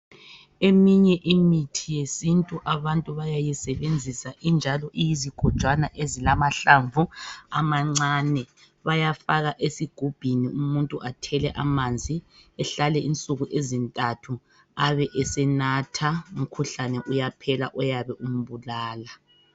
Eminye imithi yesintu abantu bayayisebenzisa injalo iyizigojwana ezilamahlamvu amancane . Bayafaka esigubhini, umuntu athele amanzi , ehlale insuku ezintathu, ebe esenatha. Umkhuhlane uyaphela oyabe umbulala.